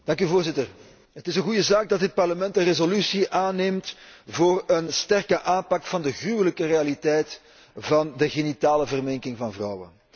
Voorzitter, het is een goede zaak dat dit Parlement een resolutie aanneemt voor een sterke aanpak van de gruwelijke realiteit van de genitale verminking van vrouwen.